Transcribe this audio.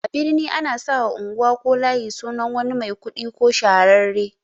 A birni ana sawa unguwa ko layi sunan wani mai kuɗi ko shahararre